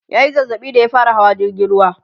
ya Yi zazzaɓi da ya fara Hawa jirgin ruwa